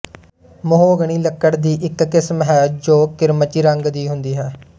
mahogany ਲੱਕੜ ਦੀ ਇੱਕ ਕਿਸਮ ਹੈ ਜੋ ਕਿਰਮਚੀ ਰੰਗ ਦੀ ਹੁੰਦੀ ਹੈ